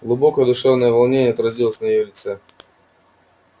глубокое душевное волнение отразилось на её лице